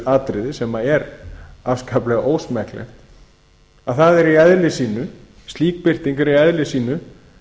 atriði sem er afskaplega ósmekklegt að slík birting er í eðli sínu